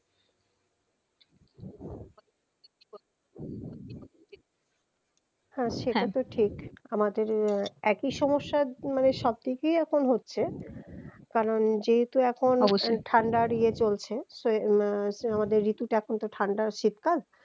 হ্যা সেটা তো ঠিক আমাদের একই সমস্যা মানে সবদিক দিয়েই এখন হচ্ছে কারণ যেহেতু এখন অবশ্যই ঠান্ডার ইয়ে চলছে তো আহ আমাদের ঋতুটা এখন ঠান্ডা শীতকাল